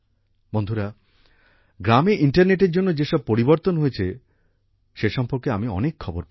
বন্ধুরা গ্রামে ইন্টারনেটের জন্য যেসব পরিবর্তন হয়েছে সে সম্পর্কে আমি অনেক খবর পাই